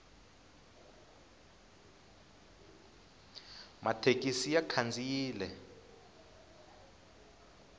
mathekisi ya khandziyile